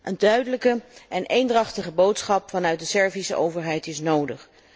Een duidelijke en eendrachtige boodschap vanuit de Servische overheid is nodig.